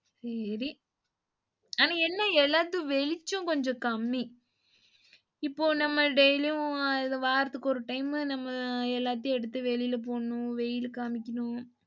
சேரி ஆனா என்ன எல்லாத்துக்கும் வெளிச்சம் கொஞ்சம் கம்மி இப்போ நம்ம daily உம் வாரத்துக்கு ஒரு டைம் நம்ம எல்லாத்தையும் எடுத்து வெளில போடணும், வெயில் காமிக்கணும்.